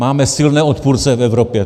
Máme silné odpůrce v Evropě.